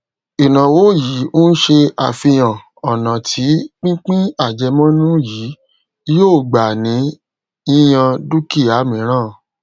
ìnáwó yìí n ṣe àfihàn ònà tí pípín àjẹmónú yìí yòó gbà ní yíyan dúkìá míràn